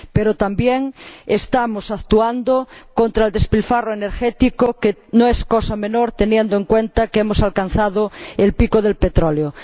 Pero también estamos actuando contra el despilfarro energético, que no es cosa menor teniendo en cuenta que hemos alcanzado el pico del petróleo.